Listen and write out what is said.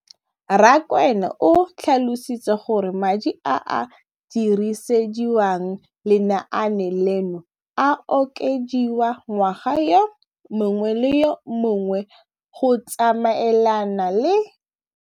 Rakwena o tlhalositse gore madi a a dirisediwang lenaane leno a okediwa ngwaga yo mongwe le yo mongwe go tsamaelana le.